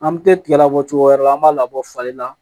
An bɛ tɛ tigɛ labɔ cogo wɛrɛ la an b'a labɔ fali la